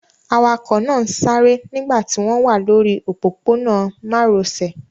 Awakọ̀ náà ń sáré nígbà tí wọ́n wà lórí òpópónà márosẹ̀.